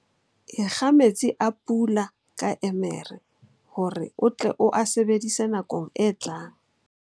Ekga metsi a pula ka emere hore o tle o a sebedise nakong e tlang.